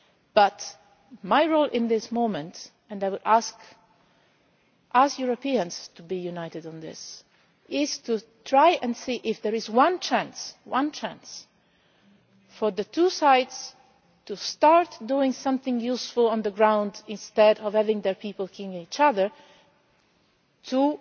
But my role at the moment and I will ask you, as Europeans, to be united on this is to try to see if there is one chance for the two sides to start doing something useful on the ground instead of having their people killing each other, and